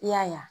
I y'a ye